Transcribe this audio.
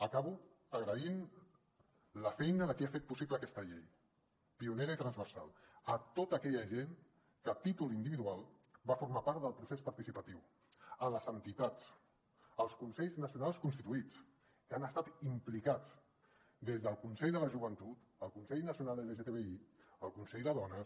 acabo agraint la feina de qui ha fet possible aquesta llei pionera i transversal a tota aquella gent que a títol individual va formar part del procés participatiu a les entitats als consells nacionals constituïts que hi han estat implicats des del consell de la joventut el consell nacional lgtbi el consell de dones